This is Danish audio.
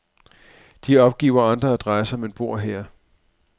De opgiver andre adresser, men bor her.